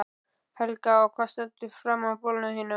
Helga: Og hvað stendur framan á bolnum þínum?